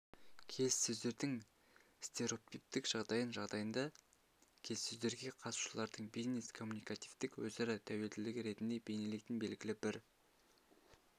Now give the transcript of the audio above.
келіссөздердің стереотиптік жағдайын жағдайында келіссөздерге қатысушылардың бизнес-коммуникативтік өзара тәуелділігі ретінде бейнелейтін белгілі бір